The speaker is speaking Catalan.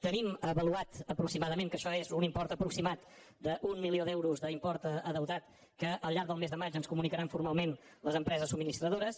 tenim avaluat aproximadament que això és un import aproximat d’un milió d’euros d’import endeutat que al llarg del mes de maig ens comunicaran formalment les empreses subministradores